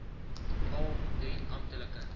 al drie amptelike